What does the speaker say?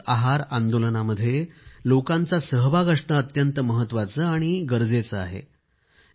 पोषक आहार आंदोलनामध्ये लोकांचा सहभाग असणे महत्वाचे आणि जरूरी आहे